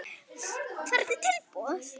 Hvernig tilboð?